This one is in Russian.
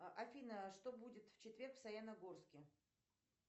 афина а что будет в четверг в саяногорске